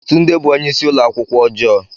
Tunde bụ onye isi ụlọ akwụkwọ ọjọọ.